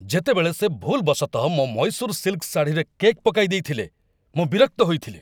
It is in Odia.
ଯେତେବେଳେ ସେ ଭୁଲ୍‌ବଶତଃ ମୋ ମୈଶୂର୍ ସିଲ୍‌କ ଶାଢ଼ୀରେ କେକ୍ ପକାଇଦେଇଥିଲେ, ମୁଁ ବିରକ୍ତ ହୋଇଥିଲି।